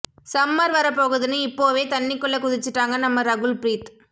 summer வர போகுதுன்னு இப்போவே தண்ணிக்குள்ள குதிச்சிட்டாங்க நம்ம ரகுல் ப்ரீத்